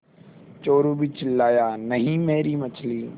चोरु भी चिल्लाया नहींमेरी मछली